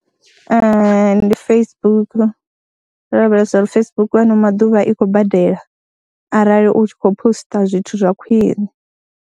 Ee, ndi Facebook ro lavhelesa uri Facebook ano maḓuvha i khou badela arali u tshi khou poster zwithu zwa khwiṋe.